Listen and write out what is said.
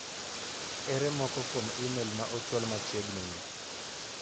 Ere moko kuom imel ma ochwal machiegni ni.